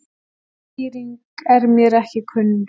Önnur skýring er mér ekki kunn.